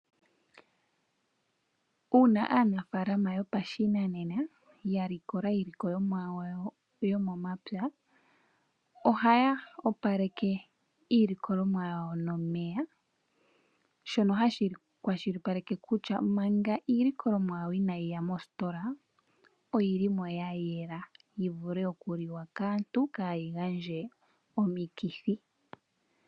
Uuna aanafaalama yopashinanena ya likola iilikolomwa yawo yomomapya, ohaya opaleke iilikolomwa yawo nomeya, shono hashi kwashilipaleke kutya manga iilikolomwa yawo inaayi ya mositola oya yela, yi vule okuliwa kaantu kaayi gandje omikithi.